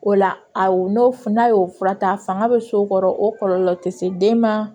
O la a n'o n'a y'o fura ta a fanga bɛ so kɔrɔ o kɔlɔlɔ tɛ se den ma